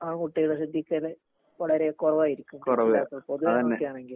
ആൺകുട്ടികളെ ശ്രദ്ധിക്കല് വളരെ കൊറവായിരിക്കും. പൊതുവെ ആൺകുട്ടി ആണെങ്കി